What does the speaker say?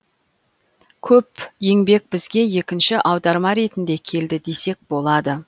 көп еңбек бізге екінші аударма ретінде келді десек болады